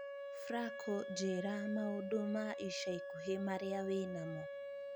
fraco njīra maūndu ma ica ikuhī marīa wīnamo